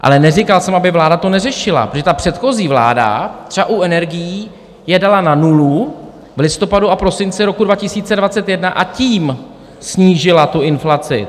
Ale neříkal jsem, aby to vláda neřešila, protože ta předchozí vláda třeba u energií je dala na nulu v listopadu a prosinci roku 2021, a tím snížila tu inflaci.